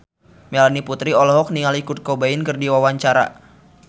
Melanie Putri olohok ningali Kurt Cobain keur diwawancara